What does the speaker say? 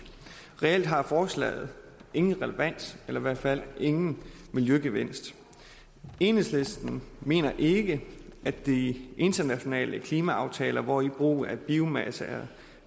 reelt har forslaget ingen relevans eller i hvert fald ingen miljøgevinst enhedslisten mener ikke at de internationale klimaaftaler hvori brug af biomasse er